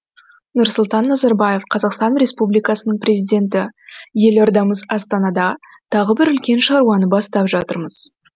нұрсұлтан назарбаев қазақстан республикасының президенті елордамыз астанада тағы бір үлкен шаруаны бастап жатырмыз